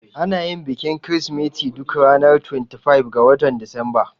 Anayin bikin kirismeti duk ranar 25 ga watan Disamba